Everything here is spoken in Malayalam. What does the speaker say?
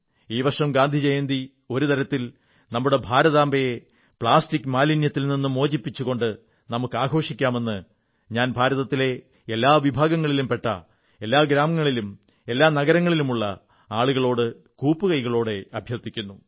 ഈ വർഷം ഗാന്ധിജയന്തി ഒരു തരത്തിൽ നമ്മുടെ ഭാരതാംബയെ പ്ലാസ്റ്റിക് മാലിന്യത്തിൽ നിന്ന്് മോചിപ്പിച്ചുകൊണ്ട് നമുക്കാഘോഷിക്കാമെന്ന് ഞാൻ ഭാരതത്തിലെ എല്ലാ വിഭാഗങ്ങളിലും പെട്ട എല്ലാ ഗ്രാമങ്ങളിലും എല്ലാ നഗരങ്ങളിലുമുള്ള നിവാസികളോടും കൂപ്പുകൈകളോടെ അഭ്യർഥിക്കുന്നു